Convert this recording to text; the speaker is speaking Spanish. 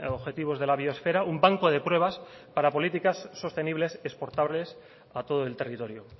objetivos de la biosfera un banco de pruebas para políticas sostenibles exportables a todo el territorio